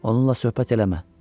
Onunla söhbət eləmə.